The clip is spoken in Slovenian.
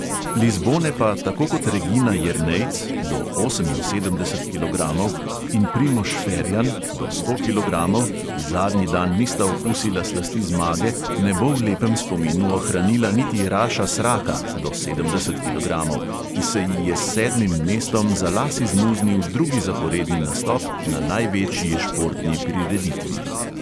Lizbone pa tako kot regina jernejc (do oseminsedemdeset kilogramov) in primož ferjan (do sto kilogramov), ki zadnji dan nista okusila slasti zmage, ne bo v lepem spominu ohranila niti raša sraka (do sedemdeset kilogramov), ki se ji je s sedmim mestom za las izmuznil drugi zaporedni nastop na največji športni prireditvi.